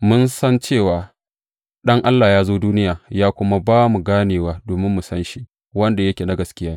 Mun san cewa Ɗan Allah ya zo duniya, ya kuma ba mu ganewa domin mu san shi wanda yake na gaskiya.